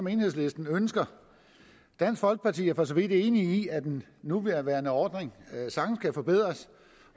enhedslisten ønsker dansk folkeparti er for så vidt enige i at den nuværende ordning sagtens kan forbedres